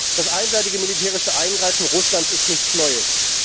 Das einseitige militärische Eingreifen Russlands ist nichts Neues.